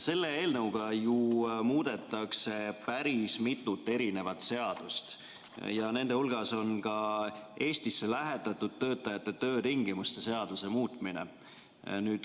Selle eelnõuga ju muudetakse päris mitut seadust ja nende hulgas on Eestisse lähetatud töötajate töötingimuste seadus.